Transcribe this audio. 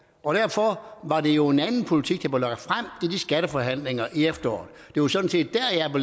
og derfor var det jo en anden politik der var lagt frem i de skatteforhandlinger i efteråret det var sådan set